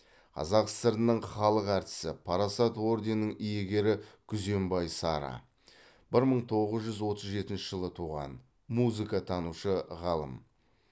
қазақ сср інің халық әртісі парасат орденінің иегері күзембай сара бір мың тоғыз жүз отыз жетінші жылы туған музыкатанушы ғалым